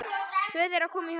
Tvö þeirra komu í höfn.